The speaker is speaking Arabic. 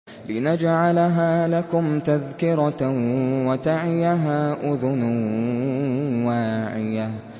لِنَجْعَلَهَا لَكُمْ تَذْكِرَةً وَتَعِيَهَا أُذُنٌ وَاعِيَةٌ